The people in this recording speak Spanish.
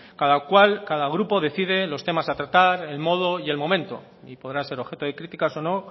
cada cual cada grupo decide los temas a tratar el modo y el momento y podrá ser objeto de críticas o no